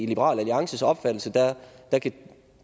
liberal alliances opfattelse at